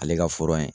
Ale ka